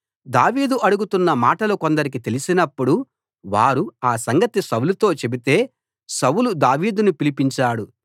దావీదు అడుగుతున్న మాటలు కొందరికి తెలిసినప్పుడు వారు ఆ సంగతి సౌలుతో చెబితే సౌలు దావీదును పిలిపించాడు